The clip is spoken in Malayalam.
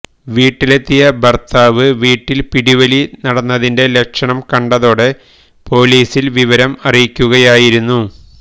വീട്ടിലെത്തിയ ഭര്ത്താവ് വീട്ടില് പിടിവലി നടന്നതിന്റെ ലക്ഷണം കണ്ടതോടെ പൊലീസില് വിവരം അറിയിക്കുകയായിരുന്നു